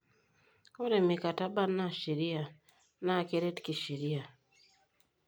Ore mikataba naa ne sheria naa keret kisheria.